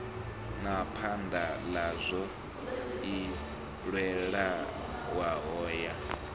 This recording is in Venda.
na phaḓaladzo i leluwaho ya